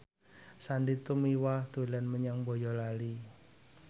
Sandy Tumiwa dolan menyang Boyolali